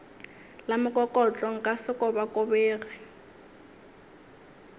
la mokokotlo nka se kobakobege